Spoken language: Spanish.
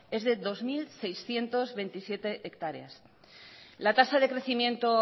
es de dos mil seiscientos veintisiete hectáreas la tasa de crecimiento